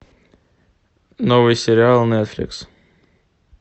новый сериал нетфликс